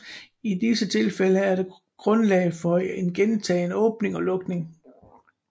I disse tilfælde er der grundlag for en gentagen åbning og lukning